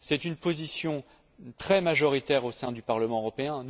C'est une position très majoritaire au sein du Parlement européen.